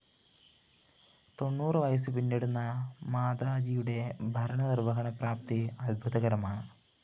തൊണ്ണൂറ് വയസ്സ് പിന്നിടുന്ന മാതാജിയുടെ ഭരണനിര്‍വഹണ പ്രാപ്തി അദ്ഭുതകരമാണ്